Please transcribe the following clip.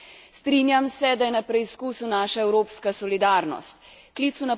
Klicu na pomoč moramo prisluhniti, Bolgarija in vse države Unije.